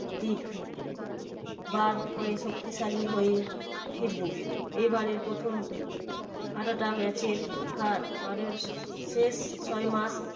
দিক বার করে শক্তিশালী হয়ে ফিরবো। এবারে প্রথম এতটা match এর হার পরের ফের ছয় মার্চ